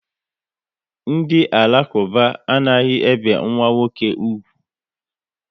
Ndị Alakuba anaghị ebe nwa nwoke úgwù